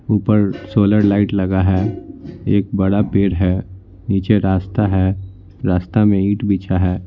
ऊपर solar light लगा है एक बड़ा पेड़ है नीचे रास्ता है रास्ता में ईंट बिछा है।